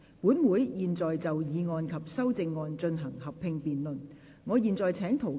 本會現在就議案及修正案進行合併辯論。